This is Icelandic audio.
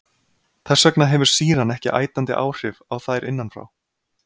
Þess vegna hefur sýran ekki ætandi áhrif á þær innan frá.